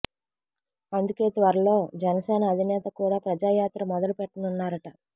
అందుకే త్వరలో జనసేన అధినేత కూడా ప్రజాయాత్ర మొదలు పెట్టనున్నారట